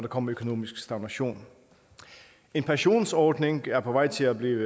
kommer økonomisk stagnation en pensionsordning er på vej til at blive